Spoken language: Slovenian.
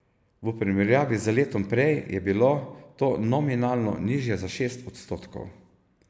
V primerjavi z letom prej je bilo to nominalno nižje za šest odstotkov.